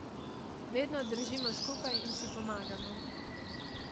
Vedno držimo skupaj in si pomagamo.